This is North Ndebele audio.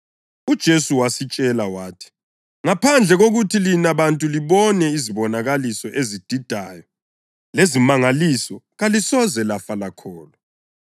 UJesu wasitshela wathi, “Ngaphandle kokuthi lina bantu libone izibonakaliso ezididayo lezimangaliso kalisoze lafa lakholwa.”